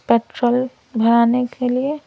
petrol भराने के लिए --